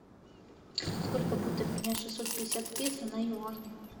сколько будет обменять шестьсот пятьдесят песо на юани